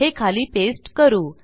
हे खाली पेस्ट करू